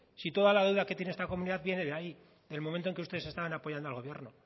si toda la deuda que tiene esta comunidad viene de ahí del momento que ustedes estaban apoyando al gobierno